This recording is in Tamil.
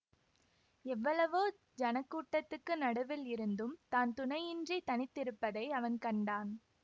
எவ்வளவோ ஜனக்கூட்டத்துக்கு நடுவில் இருந்தும் தான் துணையின்றித் தனித்திருப்பதை அவன் கண்டான்